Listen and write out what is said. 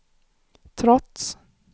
trots